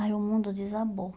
Aí o mundo desabou.